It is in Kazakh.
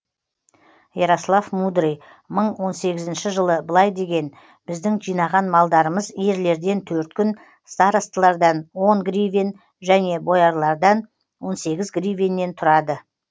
ярослав мудрый мың он сегізінші жылы былай деген біздің жинаған малдарымыз ерлерден төрт күн старостылардан он гривен және боярлардан он сегіз гривеннен тұрады